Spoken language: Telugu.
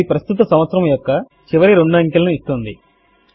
అది ప్రస్తుత సంవత్సరము యొక్క చివరి రెండు అంకెలను ఇస్తుంది